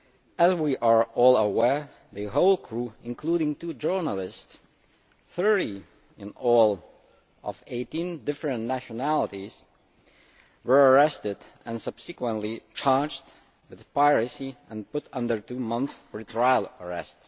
As we are all aware, the whole crew, including two journalists 30 in all, of 18 different nationalities were arrested and subsequently charged with piracy and put under two months' pre trial arrest.